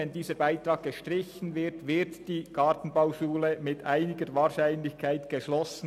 Wenn dieser Beitrag gestrichen wird, wird die Gartenbauschule mit einiger Wahrscheinlichkeit geschlossen.